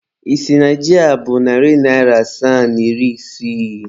Ị sị na ji a bụ narị naịra asaa na iri isii?